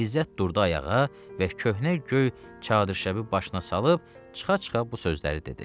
İzzət durdu ayağa və köhnə göy çadırşəbi başına salıb çıxa-çıxa bu sözləri dedi.